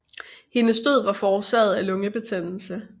Hendes død var forårsaget af lungebetændelse